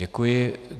Děkuji.